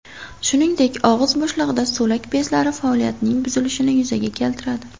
Shuningdek, og‘iz bo‘shlig‘ida so‘lak bezlari faoliyatining buzilishini yuzaga keltiradi.